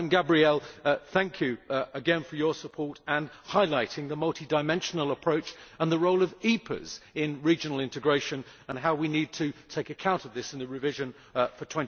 Ms Gabriel, thank you again for your support and for highlighting the multi dimensional approach and the role of EPAs in regional integration and how we need to take account of this in the revision for